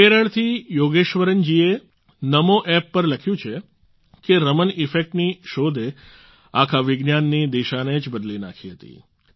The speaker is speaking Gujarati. કેરળથી યોગેશ્વરન જીએ NamoApp પર લખ્યું છે કે રમણ ઇફેક્ટ ની શોધે આખા વિજ્ઞાનની દિશાને જ બદલી નાખી હતી